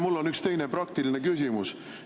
Mul on üks teine, praktiline küsimus.